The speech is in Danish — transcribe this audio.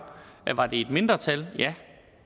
var det et mindretal ja